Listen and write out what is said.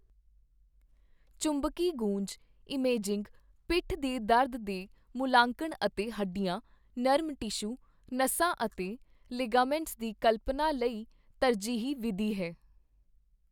ਚੁੰਬਕੀ ਗੂੰਜ ਇਮੇਜਿੰਗ ਪਿੱਠ ਦੇ ਦਰਦ ਦੇ ਮੁੱਲਾਂਕਣ ਅਤੇ ਹੱਡੀਆਂ, ਨਰਮ ਟਿਸ਼ੂ, ਨਸਾਂ ਅਤੇ ਲਿਗਾਮੈਂਟਸ ਦੀ ਕਲਪਨਾ ਲਈ ਤਰਜੀਹੀ ਵਿਧੀ ਹੈ।